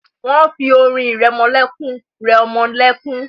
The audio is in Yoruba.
Wọ́n fi orin ìrẹmọlẹ́kún rẹ ọmọ lẹ́kún.